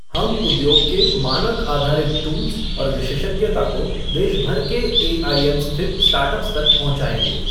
हम उद्योग के मानक आधारित टूल्स और विशेषज्ञता को देशभर के एआईएम स्थित स्टार्टअप्स तक पहुंचाएंगे।